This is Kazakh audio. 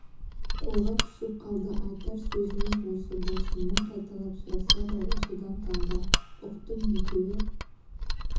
қолға түсіп қалды айтар сөзіміз осы болсын мың қайталап сұраса да осыдан танба ұқтым екеуі